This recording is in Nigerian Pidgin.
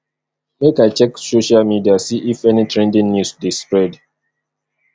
make i check social media see if any trending news dey spread